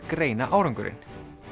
greina árangurinn